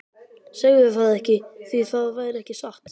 Segðu það ekki, því það væri ekki satt.